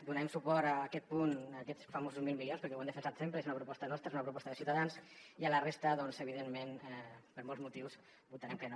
donarem suport a aquest punt a aquests famosos mil milions perquè ho hem defensat sempre és una proposta nostra és una proposta de ciutadans i a la resta doncs evidentment per molts motius votarem que no